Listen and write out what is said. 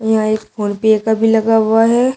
यह एक फोनपे का भी लगा हुआ है।